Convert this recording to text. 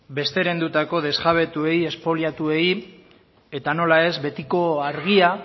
besterendutako desjabetuei espoliatuei eta nola ez betiko argia